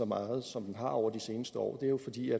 meget som den har over de seneste år det er jo fordi